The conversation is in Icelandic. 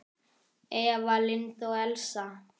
Eva Lind og Elsa.